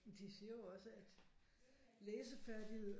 De siger jo også at læsefærdigheder